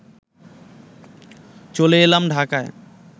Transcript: চলে এলাম ঢাকায়